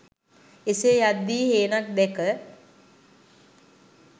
එසේ යද්දී හේනක් දැක